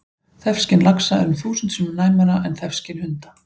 Þefskyn laxa er um þúsund sinnum næmara en þefskyn hunda!